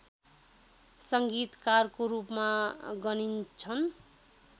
सङ्गीतकारको रूपमा गनिन्छन्